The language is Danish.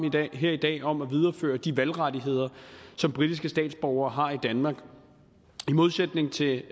her i dag om at videreføre de valgrettigheder som britiske statsborgere har i danmark i modsætning til